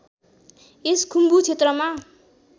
यस खुम्बु क्षेत्रमा